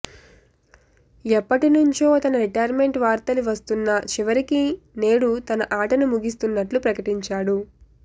ఎప్పటి నుంచో తన రిటైర్మెంట్పై వార్తలు వస్తున్నా చివరికి నేడు తన ఆటను ముగిస్తున్నట్లు ప్రకటించాడు